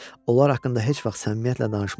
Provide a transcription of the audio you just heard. Onlar haqqında heç vaxt səmimiyyətlə danışma.